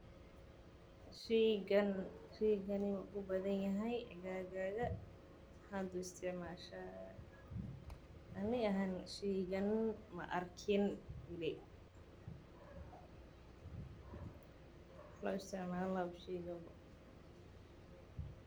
Sheygani maku badani yahay aaggaaga maxad u isticmasha ani ahan sheygan ma arkin weli waxa loo isticmalana haba shegin bo.